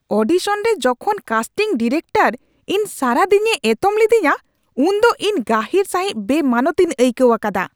ᱚᱰᱤᱥᱚᱱᱨᱮ ᱡᱚᱠᱷᱚᱱ casting director ᱤᱧ ᱥᱟᱨᱟ ᱫᱤᱱᱮ ᱮᱛᱚᱢ ᱞᱤᱫᱤᱧᱟ ᱩᱱᱫᱚ ᱤᱧ ᱜᱟᱹᱦᱤᱨ ᱥᱟᱹᱦᱤᱡ ᱵᱮᱼᱢᱟᱱᱚᱛ ᱤᱧ ᱟᱹᱭᱠᱟᱹᱣ ᱟᱠᱟᱫᱟ ᱾